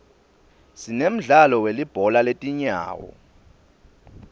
sinemdlalo welibhola letinyawo